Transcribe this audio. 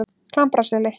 Klambraseli